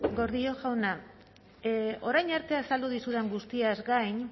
gordillo jauna orain arte azaldu dizudan guztiaz gain